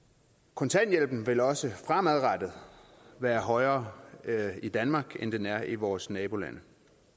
kontanthjælpen vil også fremadrettet være højere i danmark end den er i vores nabolande